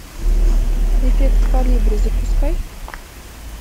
эффект колибри запускай